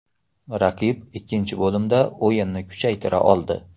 Raqib ikkinchi bo‘limda o‘yinini kuchaytira oldi.